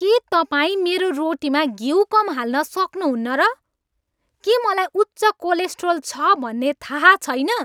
के तपाईँ मेरो रोटीमा घिउ कम हाल्न सक्नुहुन्न र? के मलाई उच्च कोलेस्ट्रोल छ भन्ने थाहा छैन?